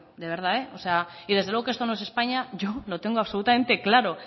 de verdad y desde luego que esto no es españa yo lo tengo absolutamente claro